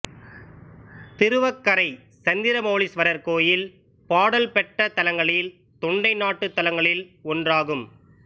திருவக்கரை சந்திரமவுலீஸ்வரர் கோயில் பாடல் பெற்ற தலங்களில் தொண்டை நாட்டுத் தலங்களில் ஒன்றாகும்